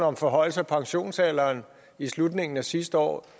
om forhøjelse af pensionsalderen i slutningen af sidste år